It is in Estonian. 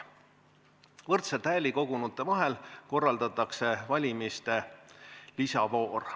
Võrdselt hääli kogunute vahel korraldatakse valimiste lisavoor.